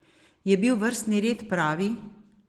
Je bil vrstni red pravi?